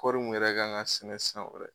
Kɔri mun yɛrɛ kan ŋa sɛnɛ san wɛrɛ